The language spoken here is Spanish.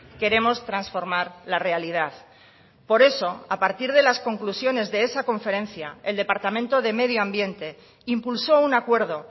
queremos transformar la realidad por eso a partir de las conclusiones de esa conferencia el departamento de medio ambiente impulsó un acuerdo